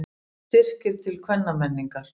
Styrkir til kvennamenningar